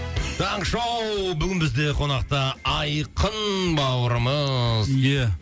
таңғы шоу бүгін бізде қонақта айқын бауырымыз